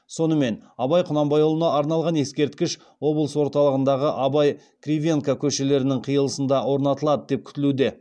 сонымен абай құнанбайұлына арналған ескерткіш облыс орталығындағы абай кривенко көшелерінің қиылысында орнатылады деп күтілуде